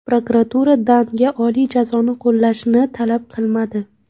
Prokuratura Dannga oliy jazoni qo‘llashni talab qilmadi.